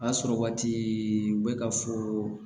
A sɔrɔ waati u bɛ ka fɔ